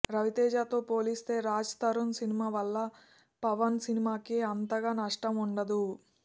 రవితేజతో పోలిస్తే రాజ్ తరుణ్ సినిమా వల్ల పవన్ సినిమాకి అంతగా నష్టం వుండదు